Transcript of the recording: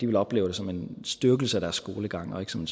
vil opleve det som en styrkelse af deres skolegang og ikke som